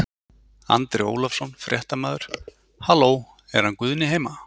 Andri Ólafsson, fréttamaður: Halló er hann Guðni heima?